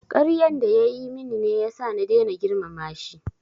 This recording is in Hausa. Karyan da ya yi min ne ya sa na daina girmama shi